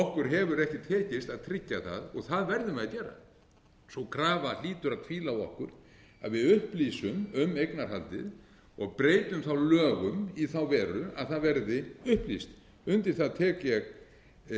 okkur hefur ekki tekist að tryggja það en það verðum við að gera sú krafa hlýtur að hvíla á okkur að við upplýsum um eignarhaldið og breytum lögum í þá veru að það verði upplýst undir það tek ég heils hugar